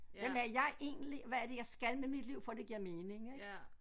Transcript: Hvem er jeg egentlig hvad er det jeg skal med mit liv for det giver mening ik